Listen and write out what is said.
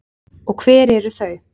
Og hver eru þau?